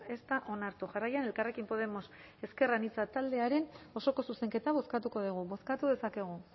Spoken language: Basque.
ez da onartu jarraian elkarrekin podemos ezker anitza taldearen osoko zuzenketa bozkatuko dugu bozkatu dezakegu